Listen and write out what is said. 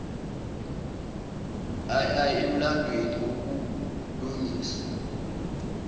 ii emlandweni wokulungisa